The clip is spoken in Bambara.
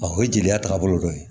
o ye jeliya taagabolo dɔ ye